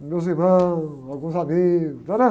Nos meus irmãos, alguns amigos. Entendeu?